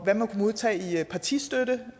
må modtage i partistøtte